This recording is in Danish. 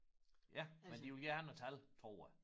Ja men de ville gerne have tal tror jeg